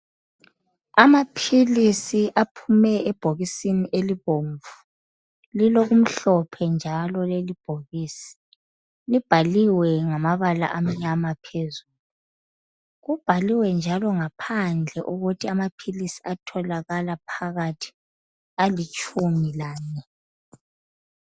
Amaphilisi aphume ebhokisini elibomvu lilokumhlophe njalo leli bhokisi. Libhaliwe ngamabala amnyama phezulu, kubhaliwe njalo ngaphandle ukuthi amaphilisi atholakala phakathi alitshumi lanye